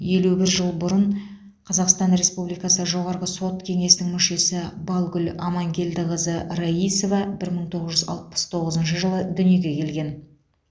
елу бір жыл бұрын қазақстан республикасы жоғарғы сот кеңесінің мүшесі балгүл амангелдіқызы раисова бір мың тоғыз жүз алпыс тоғызыншы жылы дүниеге келген